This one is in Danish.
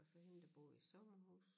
Og så hende der bor i sommerhus